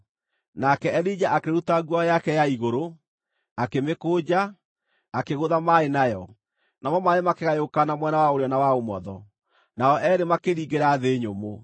Nake Elija akĩruta nguo yake ya igũrũ, akĩmĩkũnja, akĩgũtha maaĩ nayo. Namo maaĩ makĩgayũkana mwena wa ũrĩo na wa ũmotho, nao eerĩ makĩringĩra thĩ nyũmũ.